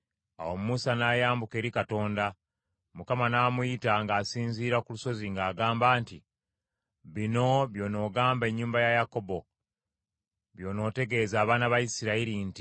Awo Musa n’ayambuka eri Katonda; Mukama n’amuyita ng’asinziira ku lusozi ng’agamba nti, “Bino by’onoogamba ennyumba ya Yakobo, by’onootegeeza abaana ba Isirayiri nti,